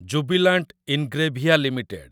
Jubilant Ingrevia limited